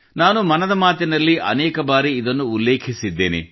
ನಾನು ಮನದ ಮಾತಿನಲ್ಲಿ ಅನೇಕ ಬಾರಿ ಇದನ್ನು ಉಲ್ಲೇಖಿಸಿದ್ದೇನೆ